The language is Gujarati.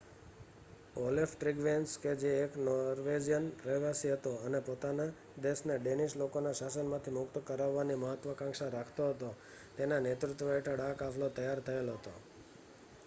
ઓલેફ ટ્રીગવેસન કે જે એક નોર્વેજિયન રહેવાસી હતો અને પોતાના દેશને ડેનિશ લોકોના શાસનમાંથી મુક્ત કરાવવાની મહત્વકાંક્ષા રાખતો હતો તેના નેતૃત્વ હેઠળ આ કાફલો તૈયાર થયેલ હતો